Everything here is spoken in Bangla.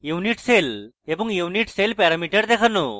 unit cell এবং unit cell প্যারামিটার দেখানো